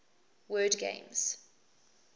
word games